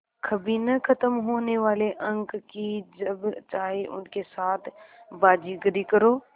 कभी न ख़त्म होने वाले अंक कि जब चाहे उनके साथ बाज़ीगरी करो